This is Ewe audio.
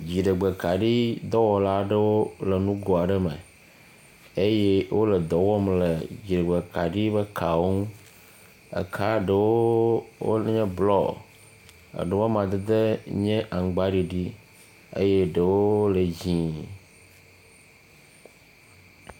Dziɖegbekaɖi dɔwɔla aɖewo le nugo aɖe me. Eye wole dɔ wɔm le dziɖegbekaɖi ƒe kawo ŋu. Eka ɖewo wonye blɔ, eɖewo amadedewo nye aŋgbaɖiɖi eyeɖewo le dzɛ̃.